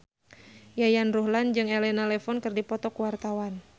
Yayan Ruhlan jeung Elena Levon keur dipoto ku wartawan